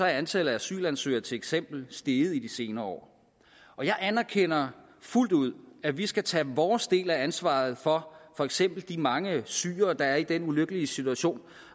er antallet af asylansøgere til eksempel steget de senere år jeg anerkender fuldt ud at vi skal tage vores del af ansvaret for for eksempel de mange syrere der er i den ulykkelige situation